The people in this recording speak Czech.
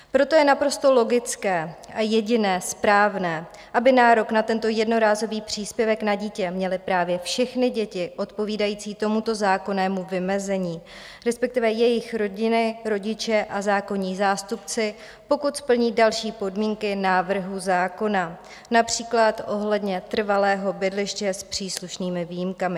Proto je naprosto logické a jedině správné, aby nárok na tento jednorázový příspěvek na dítě měly právě všechny děti odpovídající tomuto zákonnému vymezení, respektive jejich rodiny, rodiče a zákonní zástupci, pokud splní další podmínky návrhu zákona, například ohledně trvalého bydliště s příslušnými výjimkami.